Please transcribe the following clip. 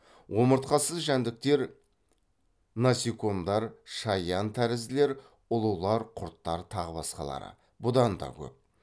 омыртқасыз жәндіктер насекомдар шаян тәрізділер ұлулар құрттар тағы басқалары бұдан да көп